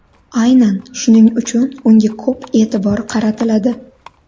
Aynan shuning uchun unga ko‘p e’tibor qaratiladi.